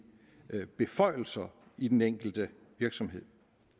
beføjelser i den enkelte virksomhed